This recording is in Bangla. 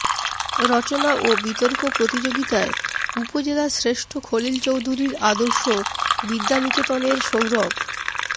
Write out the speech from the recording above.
রচনা ও বিতর্ক প্রতিযোগিতায় উপজেলার শ্রেষ্ঠ খলিল চৌধুরীর আদর্শ বিদ্যানিকেতনের সৌরভ